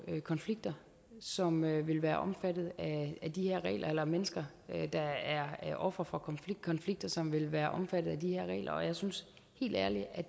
konflikter som vil være omfattet af de her regler og mennesker der er ofre for konflikter som vil være omfattet af de her regler og jeg synes helt ærligt at